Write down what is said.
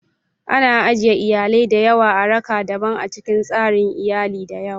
Ana ajiye iyalai da yawa a raka'a daban a cikin tsarin iyali da yawa.